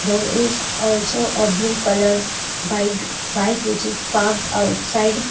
There is also a blue colour bike which is parked outside.